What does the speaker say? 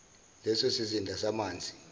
leso sizinda samanzi